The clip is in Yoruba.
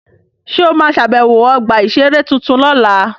Ṣé o ma ṣàbẹ̀wọ̀ ọgbà-ìṣeré tuntun lọ́la?